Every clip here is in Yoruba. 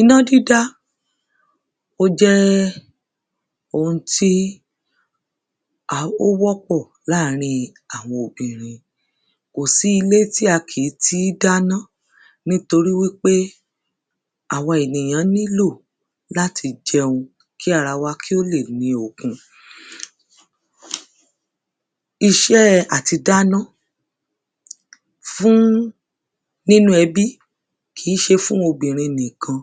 Iná dídá ó jẹ́ ohun tí a ó wọ́pọ̀ láàrin àwọn obìnrin. Kò sí ilé tí a kì í tí dáná. Nítorí wípé àwa ènìyàn nílò láti jẹun kí ara wakí ó lè ní okun. Iṣẹ́ àti dáná fún nínú ẹbí kì í se fún obìnrin nìkan.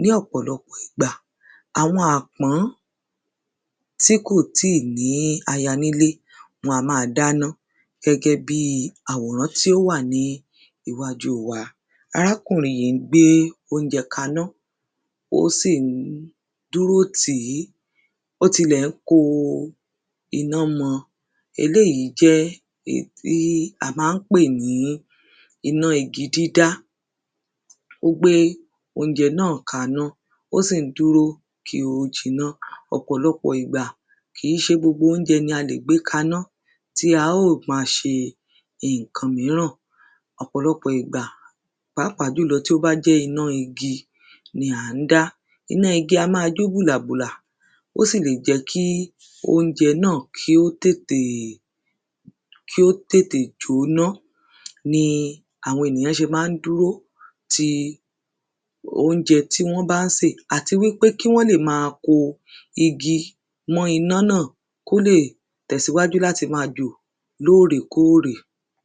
Ní ọ̀pọ̀lọpọ̀ ìgbà, àwọn àpọ́n tí kò tíì ní aya nílé wọn a máa dáná gẹ́gẹ́ bí àwòrán tí ó wà ní iwájú wa. Arákùnrin yí ń gbé óúnjẹ kaná. Ó sì ń dúró tíì Ó tilẹ̀ ń koná mọ. Eléyí jẹ́ èyí í à má ń pè ní iná igi dídá. Ó gbé óúnjẹ náà kaná ó sì ń dúró kí ó jinná. Ọ̀pọ̀lọpọ̀ ìgbà kì í se gbogbo oúnjẹ ni a lè gbé kaná tí a ó ma se ǹkan míràn. Ọ̀pọ̀lọpọ̀ ìgbà, pàápàá jùlọ tí ó bá jẹ́ iná igi ni à ń dá. Iná igi a má a jó bùlàbùlà, ó sì lè jẹ́ kí óúnjẹ náà kí ó tètè kí ó tètè jóná ni àwọn ènìyàn se má ń dúró ti oúnjẹ tí wọ́n bá ń sè. Àti wípé kí wọ́n lè ma ko igi mọ́ iná náà kó lè tèsíwájú láti má a jò ní òrèkórè.